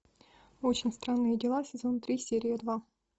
очень странные дела сезон три серия два